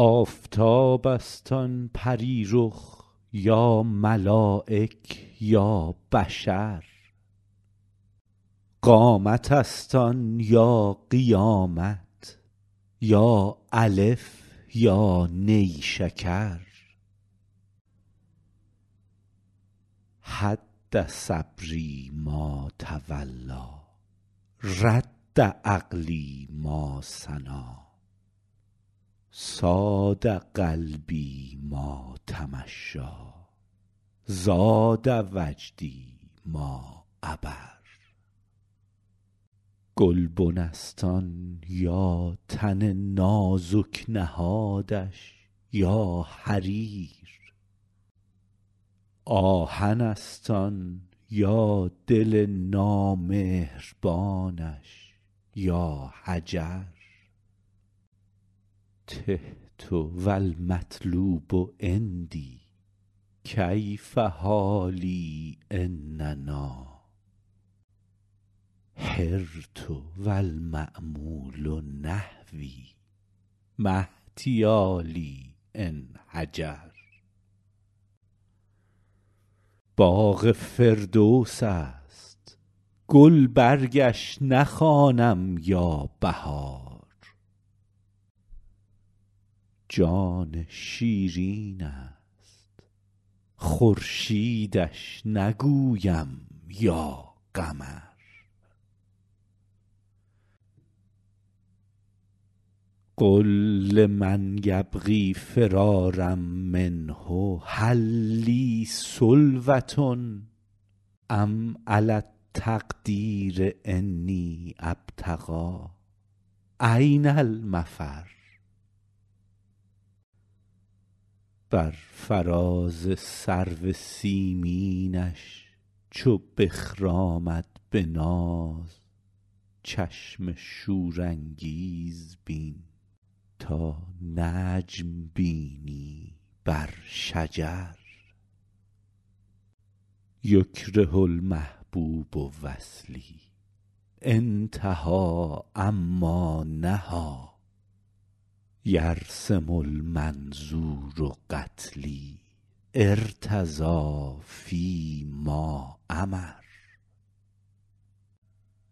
آفتاب است آن پری رخ یا ملایک یا بشر قامت است آن یا قیامت یا الف یا نیشکر هد صبری ما تولیٰ رد عقلی ما ثنیٰ صاد قلبی ما تمشیٰ زاد وجدی ما عبر گلبن است آن یا تن نازک نهادش یا حریر آهن است آن یا دل نامهربانش یا حجر تهت و المطلوب عندی کیف حالی إن نأیٰ حرت و المأمول نحوی ما احتیالی إن هجر باغ فردوس است گلبرگش نخوانم یا بهار جان شیرین است خورشیدش نگویم یا قمر قل لمن یبغی فرارا منه هل لی سلوة أم علی التقدیر أنی أبتغي أین المفر بر فراز سرو سیمینش چو بخرامد به ناز چشم شورانگیز بین تا نجم بینی بر شجر یکره المحبوب وصلی أنتهي عما نهیٰ یرسم المنظور قتلی أرتضی فی ما أمر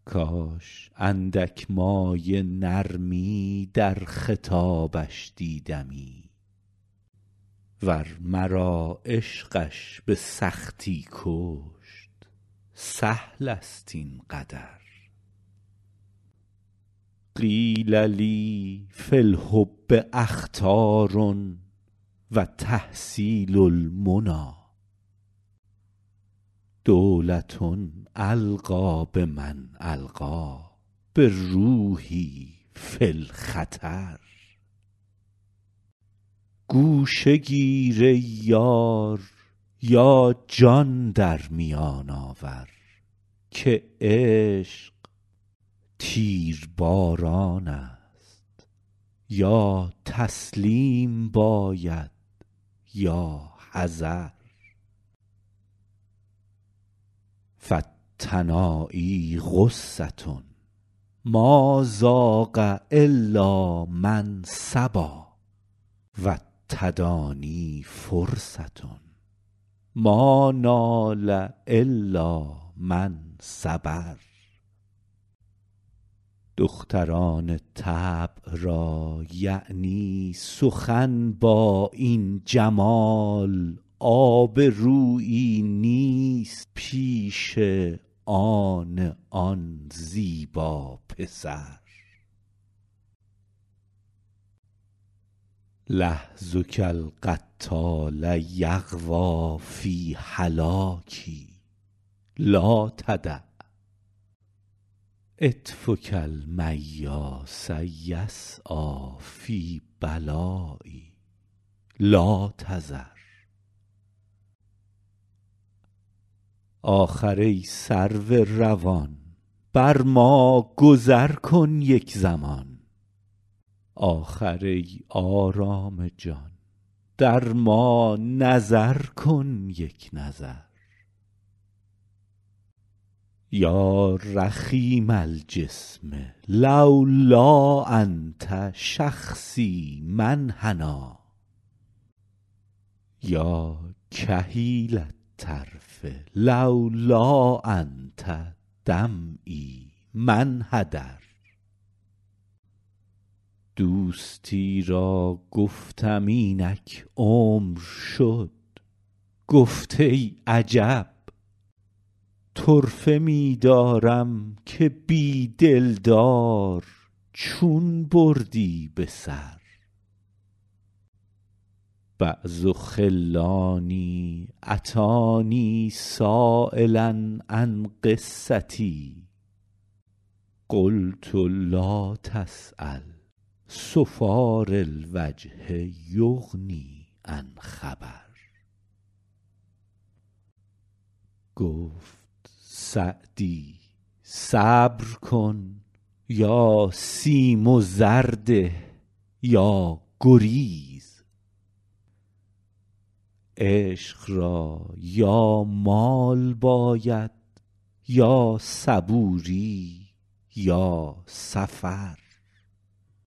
کاش اندک مایه نرمی در خطابش دیدمی ور مرا عشقش به سختی کشت سهل است این قدر قیل لی فی الحب أخطار و تحصیل المنیٰ دولة ألقی بمن ألقیٰ بروحی فی الخطر گوشه گیر ای یار یا جان در میان آور که عشق تیرباران است یا تسلیم باید یا حذر فالتنایی غصة ما ذاق إلا من صبا و التدانی فرصة ما نال إلا من صبر دختران طبع را یعنی سخن با این جمال آبرویی نیست پیش آن آن زیبا پسر لحظک القتال یغوی فی هلاکی لا تدع عطفک المیاس یسعیٰ فی بلایی لا تذر آخر ای سرو روان بر ما گذر کن یک زمان آخر ای آرام جان در ما نظر کن یک نظر یا رخیم الجسم لولا أنت شخصی ما انحنیٰ یا کحیل الطرف لولا أنت دمعی ما انحدر دوستی را گفتم اینک عمر شد گفت ای عجب طرفه می دارم که بی دلدار چون بردی به سر بعض خلانی أتانی سایلا عن قصتی قلت لا تسأل صفار الوجه یغنی عن خبر گفت سعدی صبر کن یا سیم و زر ده یا گریز عشق را یا مال باید یا صبوری یا سفر